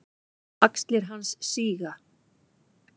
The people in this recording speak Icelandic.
Axlir hans síga.